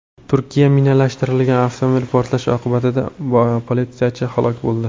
Turkiya minalashtirilgan avtomobil portlashi oqibatida politsiyachi halok bo‘ldi.